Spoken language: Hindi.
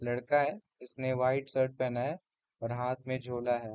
लड़का है जिसने वाइट शर्ट पहना है और हाथ में झोला है।